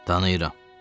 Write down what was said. Tanıyıram.